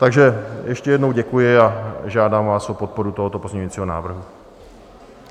Takže ještě jednou děkuji a žádám vás o podporu tohoto pozměňujícího návrhu.